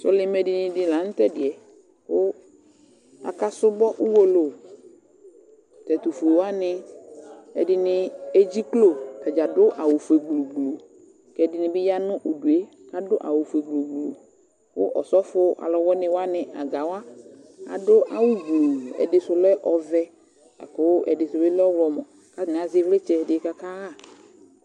Sɔlɩmɛdini dɩ la nʋ tʋ ɛdɩ yɛ kʋ akasʋbɔ uwolowu Tʋ ɛtʋfue wanɩ, ɛdɩnɩ edziklo Ata dza adʋ awʋfue gblu gblu kʋ ɛdɩnɩ bɩ ya nʋ udu yɛ kʋ adʋ awʋfue gblu gblu kʋ ɔsɔfo alʋwɩnɩ wanɩ aga wa adʋ awʋgblu Ɛdɩ sʋ lɛ ɔvɛ la kʋ ɛdɩ sʋ bɩ lɛ ɔɣlɔmɔ kʋ atanɩ azɛ ɩvlɩtsɛ dɩ kʋ akaɣa